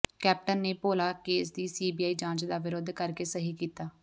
captain ਨੇ Bhola case ਦੀ CBI ਜਾਂਚ ਦਾ ਵਿਰੋਧ ਕਰਕੇ ਸਹੀ ਕੀਤਾ